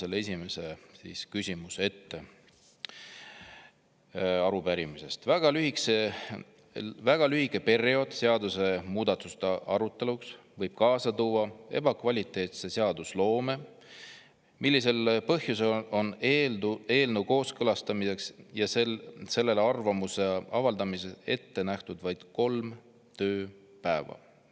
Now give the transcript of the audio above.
Ma loen esimese küsimuse arupärimisest ette: "Väga lühike periood seadusmuudatuste aruteluks võib kaasa tuua ebakvaliteetse seadusloome, millisel põhjusel on eelnõu kooskõlastamiseks ja sellele arvamuse avaldamiseks ette nähtud vaid kolm tööpäeva?